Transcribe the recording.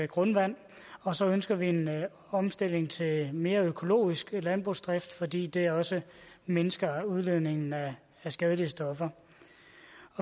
grundvand og så ønsker vi en omstilling til mere økologisk landbrugsdrift fordi det også mindsker udledningen af skadelige stoffer